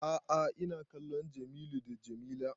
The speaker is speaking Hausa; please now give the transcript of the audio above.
A'a ina kallon Jamilu d Jamila